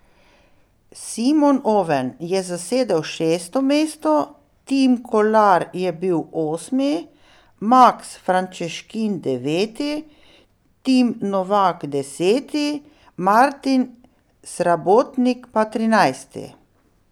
Simon Oven je zasedel šesto mesto, Tim Kolar je bil osmi, Maks Frančeškin deveti, Tim Novak deseti, Martin Srabotnik pa trinajsti.